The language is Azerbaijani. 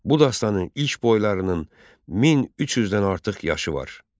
Bu dastanın ilk boylarının 1300-dən artıq yaşı var.